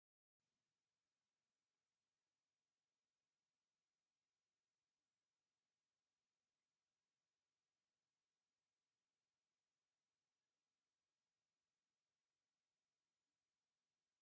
ተመሃሮ ኣብ ወንበር ዘይብሉ ግዚያዊ መፅለሊ ኮይኖም ይመሃሩ ኣለዉ፡፡ ኣብ ከምዚ ዓይነት መፀገሚ ኩነታት ዝመሃሩ ተመሃሮ ትምህርቶም ድኹማት ዶ ይኾኑ?